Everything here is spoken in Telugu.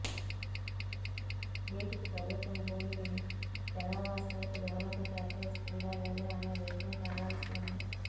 వీటికి ప్రభుత్వం భూమిని జనావాసాలకు దూరంగా కేటాయిస్తుందా లేదా అనే విషయం తేలాల్సి ఉంది